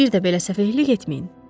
Bir də belə səfehlik etməyin.